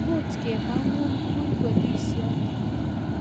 Much kemagun I kur polishiot